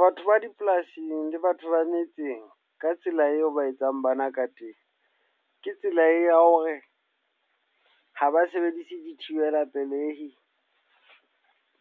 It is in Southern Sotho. Batho ba dipolasing le batho ba metseng, ka tsela eo ba etsang bana ka teng. Ke tsela ya hore ha ba sebedise di thibela pelehi,